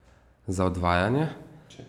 Za odvajanje?